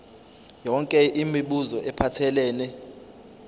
yonke imibuzo ephathelene